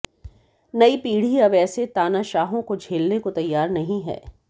नई पीढ़ी अब ऐसे तानाशाहों को झेलने को तैयार नहीं है